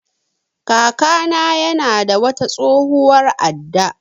Kaka na ya na da wata tsohuwar adda